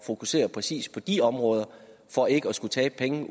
fokusere præcis på de områder for ikke at skulle tabe penge